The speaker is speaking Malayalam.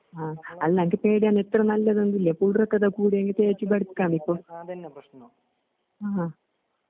അ അല്ലന്നക്ക്പേടിയാണ്. ഇത്രനല്ലതെന്തുല്ലെ കൂതറക്കഥകൂടിയെങ്കി തേച്ച്ബെടക്കാമിപ്പൊ. ആ.